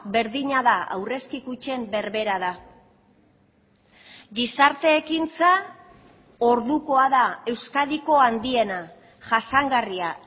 berdina da aurrezki kutxen berbera da gizarte ekintza ordukoa da euskadiko handiena jasangarria